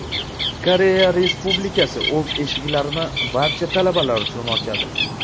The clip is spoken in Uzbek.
Koreya Respublikasi o‘z eshiklarini barcha talabalar uchun ochadi.